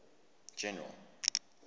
general